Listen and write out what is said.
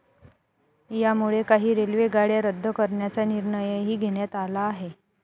यामुळे काही रेल्वे गाड्या रद्द करण्याचा निर्णयही घेण्यात आला आहे.